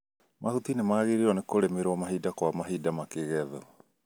Mahuti nĩmagĩrĩirwo nĩ kũrĩmĩrwo mahinda kwa mahinda makĩgethwo